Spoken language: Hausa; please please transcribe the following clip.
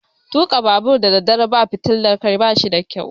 Tuka babur daddare babu fitilar Kai bashi da ƙyau.